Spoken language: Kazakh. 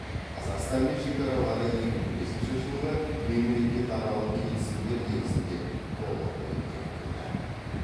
қазақстанмен шекаралары екі мың бесінші жылғы мемлекетаралық келісімдер негізінде толығымен бекітілді